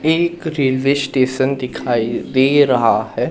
एक railway station दिखाई दे रहा है।